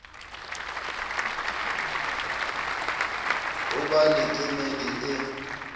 ho ba le kemedi e